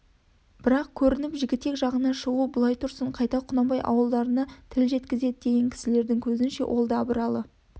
бірақ көрініп жігітек жағына шығу былай тұрсын қайта құнанбай ауылдарына тіл жеткізеді деген кісілердің көзінше ол да абыралы